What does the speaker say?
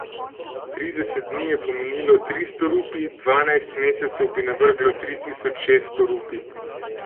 Trideset dni je pomenilo tristo rupij, dvanajst mesecev bi navrglo tri tisoč šeststo rupij.